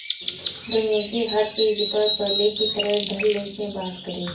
दुनिया की हर चीज पर पहले की तरह धडल्ले से बात करे